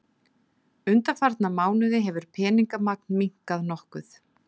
Undanfarna mánuði hefur peningamagn minnkað nokkuð